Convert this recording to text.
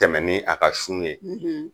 Tɛmɛ ni a ka sun ye